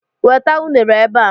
Weta unere ebe a!